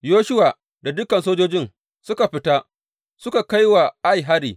Yoshuwa da dukan sojojin suka fita su kai wa Ai hari.